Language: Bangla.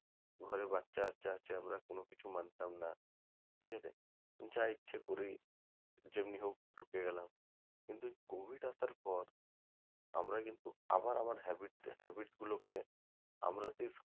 ঘরে বাচ্চা কাচ্চা আছে আমরা কোন কিছু মানতাম না ঠিক আছে যা ইচ্ছা করে যেমনি হোক ঢুকে গেলাম কিন্তু covid আসার পর আমরা কিন্তু আবার habits গুলো কে আমরা সেই